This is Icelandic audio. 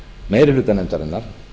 meiri hluta nefndarinnar